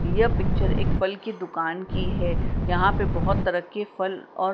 यह पिक्चर एक फल के दुकान की हैं यहां पे बहौत तरह के फल और--